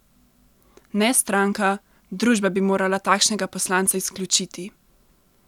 Ne stranka, družba bi morala takšnega poslanca izključiti!